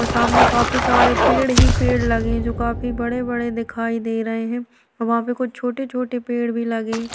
और सामने काफी सारे पेड़ ही पेड़ लगे हैं जो काफी बड़े-बड़े दिखाई दे रहे है। वहां पे कुछ छोटे-छोटे पेड़ भी लगे --